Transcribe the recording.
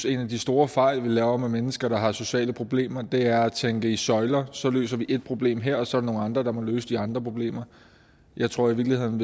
en af de store fejl vi laver med mennesker der har sociale problemer er at tænke i søjler så løser vi et problem her og så er der nogle andre der må løse de andre problemer jeg tror i virkeligheden